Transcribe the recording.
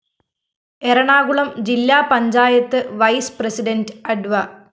എറണാകുളം ജില്ലാ panchayat vice president അഡ്വ